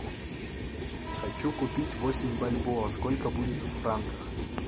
хочу купить восемь бальбоа сколько будет в франках